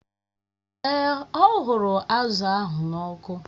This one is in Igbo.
Èè, ọ ghụrụ azụ̀ ahụ n'ọkụ